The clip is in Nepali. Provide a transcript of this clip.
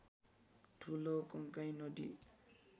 ठूलो कन्काई नदी